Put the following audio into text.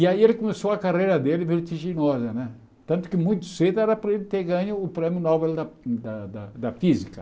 E aí ele começou a carreira dele vertiginosa né, tanto que muito cedo era para ele ter ganho o prêmio Nobel da da da Física.